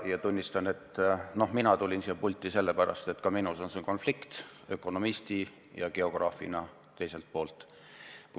Ma tunnistan, et mina tulin siia pulti sellepärast, et ka minus on konflikt ökonomisti ja geograafi vahel.